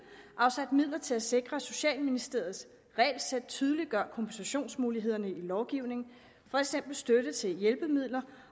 afsat midler til at sikre at socialministeriets regelsæt tydeliggør kompensationsmulighederne i lovgivningen for eksempel støtte til hjælpemidler